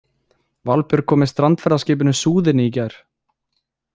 Valbjörg kom með strandferðaskipinu Súðinni í gær.